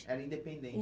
Era